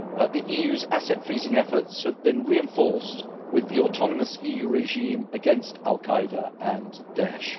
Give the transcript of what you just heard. The EU's asset freezing efforts have been reinforced with the autonomous EU regime against al Qaeda and Daesh.